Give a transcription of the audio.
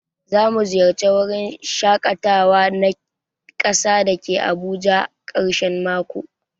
Zamu ziyarce wurin shakatawa na kasa dake Abuja ã karshen mako.